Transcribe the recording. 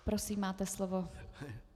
Prosím, máte slovo.